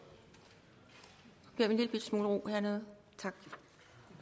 jeg en lillebitte smule ro hernede